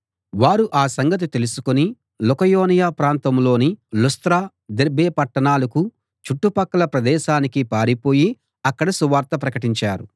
వారు ఆ సంగతి తెలుసుకుని లుకయోనియ ప్రాంతంలోని లుస్త్ర దెర్బే పట్టణాలకూ చుట్టుపక్కల ప్రదేశానికీ పారిపోయి అక్కడ సువార్త ప్రకటించారు